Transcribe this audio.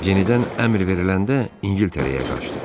Yenidən əmr veriləndə İngiltərəyə qaçdı.